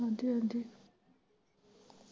ਹਾਂਜੀ ਹਾਂਜੀ।